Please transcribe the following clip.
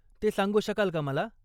ते सांगू शकाल का मला?